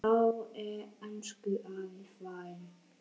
Þá er elsku afi farinn.